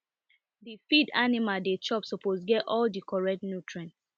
d feed animal dey chop suppose get all di correct nutrients